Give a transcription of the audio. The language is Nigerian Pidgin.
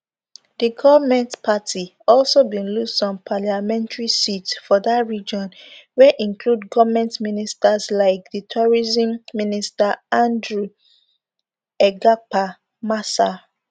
di goment party also bin lose some parliamentary seats for dat region wia include goment ministers like di tourism minister andrew egyapa mercer